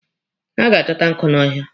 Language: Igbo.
Ha ga-achọta nkụ n'ọhịa.